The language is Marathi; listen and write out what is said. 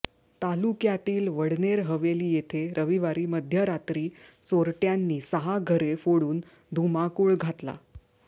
तालुक्यातील वडनेर हवेली येथे रविवारी मध्यरात्री चोरट्यांनी सहा घरे फोडून धुमाकूळ घातला